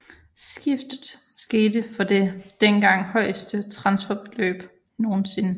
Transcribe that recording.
Skiftet skete for det dengang højeste transferbeløb nogensinde